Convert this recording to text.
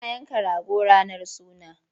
Ana yanka rago ranar suna.